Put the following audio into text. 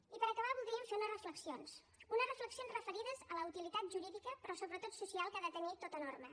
i per acabar voldríem fer unes reflexions unes reflexions referides a la utilitat jurídica però sobretot social que ha de tenir tota norma